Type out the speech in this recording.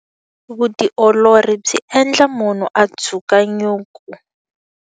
Vutiolori byi endla munhu a dzuka nyuku.